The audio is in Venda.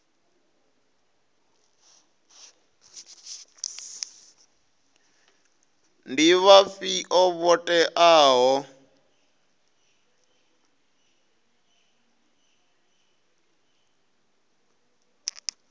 ndi vhafhio vho teaho u